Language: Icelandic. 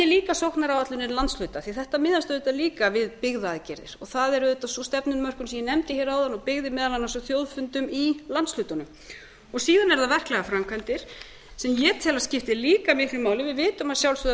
líka sóknaráætlun landsfunda því þetta miðast auðvitað líka við byggðaaðgerðir það er auðvitað sú stefnumörkun sem ég nefndi áðan og byggði meðal annars á þjóðfundum í landshlutunum síðan eru það verklegar framkvæmdir sem ég tel að skipti líka miklu máli við vitum að sjálfsögðu að